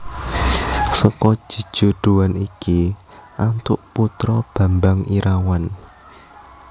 Seka jejodhoan iki antuk putra Bambang Irawan